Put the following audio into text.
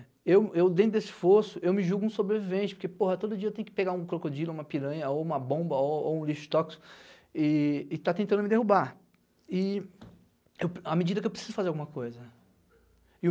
Eu eu dentro desse esforço, me julgo um sobrevivente, porque todo dia tenho que pegar um crocodilo, uma piranha, uma bomba ou ou um lixo toxico e e esta tentando me derrubar, e à medida que preciso fazer alguma coisa.